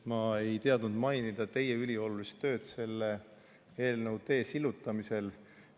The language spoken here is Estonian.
Ma ei teadnud mainida teie üliolulist tööd selle eelnõu tee sillutamisel.